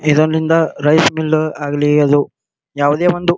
ಇದನಿಂದ rice mill ಆಗ್ಲಿ ಅದು ಯಾವದೇ ಒಂದು .